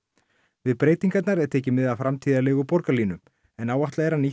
við breytingarnar er tekið mið af framtíðarlegu borgarlínu en áætlað er að nýtt